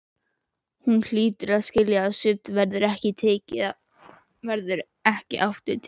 Hún hlýtur að skilja að sumt verður ekki aftur tekið.